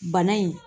Bana in